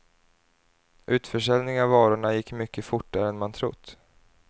Utförsäljningen av varorna gick mycket fortare än man trott.